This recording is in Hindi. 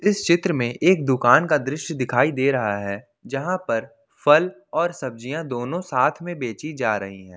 इस चित्र में एक दुकान का दृश्य दिखाई दे रहा है जहां पर फल और सब्जियां दोनों साथ में बेची जा रही हैं